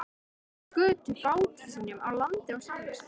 Þeir skutu báti sínum á land á Selnesi.